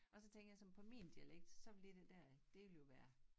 Og så tænker jeg som på min dialekt så vil det der det vil jo være